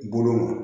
Bolo ma